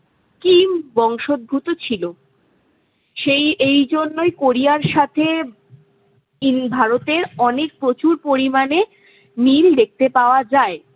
King বংশভূত ছিল। সেই এইজন্যই কোরিয়ার সাথে ভারতের অনেক প্রচুর পরিমাণে মিল দেখতে পাওয়া যায়।